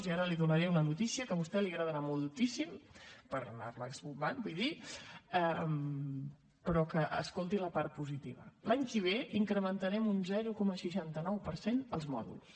i ara li donaré una notícia que a vostè li agradarà moltíssim per anar la esbombant vull dir però escolti’n la part positiva l’any que ve incrementarem un zero coma seixanta nou per cent els mòduls